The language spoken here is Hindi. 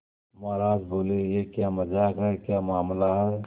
महाराज बोले यह क्या मजाक है क्या मामला है